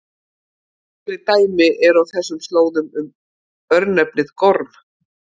Fleiri dæmi eru á þessum slóðum um örnefnið Gorm.